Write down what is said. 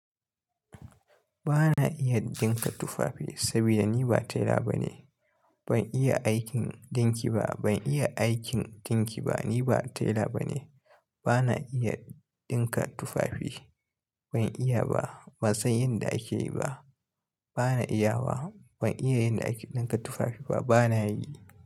Ba na iya dinka tufafi saboda ni ba taila bane. Ban iya aikin dinki ba, ban iya aikin dinki ba. Ni ba taila bane. Ba na iya dinka tufafi. Ban iya ba, ban san yanda akeyi ba. Ba na iya wa, ban iya yanda akeyi dinka tufafi ba. Ba na yi.